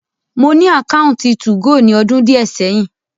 Mo ni ákáuntì tu-go ni ọdun diẹ sẹhin.